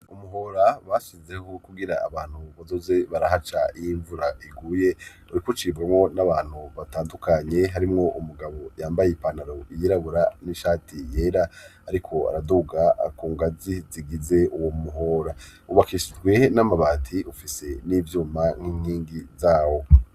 umuhora bashizeho, kugira abantu bazoze barahaca iyo imvura iguye, uriko ucibwamo n'abantu batandukanye, harimwo umugabo yambaye ipanaro iyirabura, n'ishati yera, ariko araduga kungazi zigize uwo muhora. wubakishirwe n'amabati ufise n'ivyuma n'inkingi zawo.